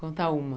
Conta uma.